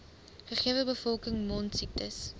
gegewe bevolking mondsiektes